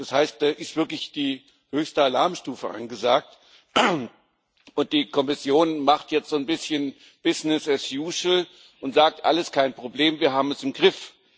Das heißt, da ist wirklich die höchste Alarmstufe angesagt. Und die Kommission macht jetzt so ein bisschen und sagt Alles kein Problem, wir haben es im Griff.